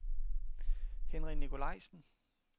Henry Nikolajsen